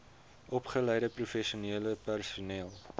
opgeleide professionele personeel